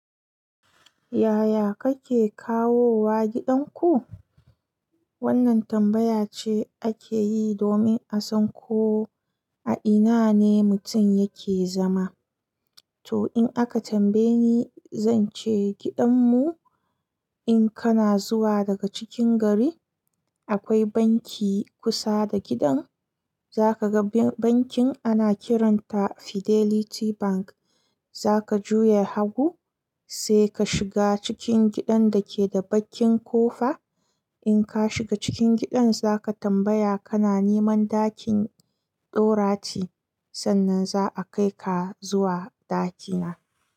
Yaya kake kawo wa gidan ku? Wannan tambaya ce ake yi domin a san ko a ina ne mutum yake zama. To in aka tambaye ni, zan ce gidanmu in kana zuwa daga cikin gari, akwai banki kusa da gidan. Zaka ga bankin ana kiranta Fidelity Bank. Zaka juya hagu, sai ka shiga cikin gidan da ke da bakin kofa. In ka shiga cikin gidan, zaka tambaya kana neman ɗakin Dorathy. Sannan za a kai ka zuwa ɗakina.